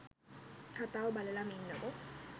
කතාව බලලම ඉන්නකෝ.